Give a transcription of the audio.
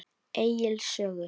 Egils sögu.